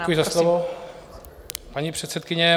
Děkuji za slovo, paní předsedkyně.